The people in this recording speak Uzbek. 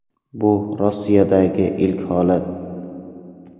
Bu Rossiyadagi ilk holat.